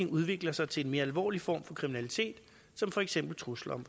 udvikler sig til en mere alvorlig form for kriminalitet som for eksempel trusler